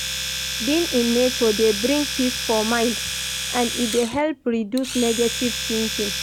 Being in nature dey bring peace for mind and e de help reduce negative thinking